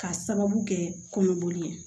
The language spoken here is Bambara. K'a sababu kɛ kɔnɔboli ye